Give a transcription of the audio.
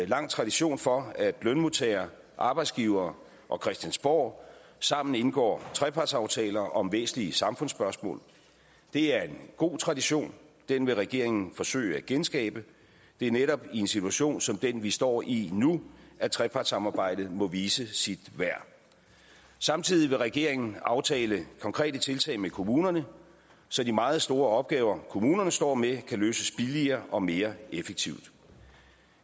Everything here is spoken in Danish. lang tradition for at lønmodtagere arbejdsgivere og christiansborg sammen indgår trepartsaftaler om væsentlige samfundsspørgsmål det er en god tradition den vil regeringen forsøge at genskabe det er netop i en situation som den vi står i nu at trepartssamarbejdet må vise sit værd samtidig vil regeringen aftale konkrete tiltag med kommunerne så de meget store opgaver kommunerne står med kan løses billigere og mere effektivt